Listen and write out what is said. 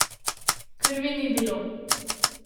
Krvi ni bilo.